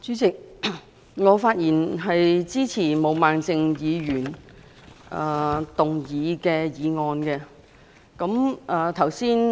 代理主席，我發言支持毛孟靜議員動議的議案。